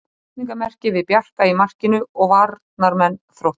Spurningarmerki við Bjarka í markinu og varnarmenn Þróttar.